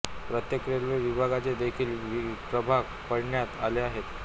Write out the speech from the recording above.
प्रत्येक रेल्वे विभागाचे देखील प्रभाग पाडण्यात आले आहेत